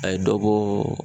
A ye dɔ bɔɔ